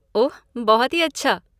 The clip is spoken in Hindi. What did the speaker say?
ओह, बहुत ही अच्छा!